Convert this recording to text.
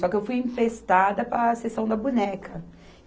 Só que eu fui empestada para a sessão da boneca.